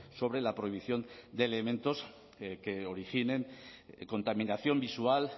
sobre la prohibición de elementos que originen contaminación visual